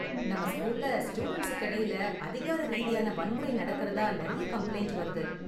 நம்ம ஸ்கூல்ல ஸ்டூடண்ட்ஸுக்கு இடையில அதிகார ரீதியான வன்முறை நடக்கறதா நெறைய கம்ப்ளைண்ட் வருது.